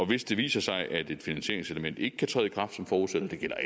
hvis det viser sig at et finansieringselement ikke kan træde i kraft som forudsat og det gælder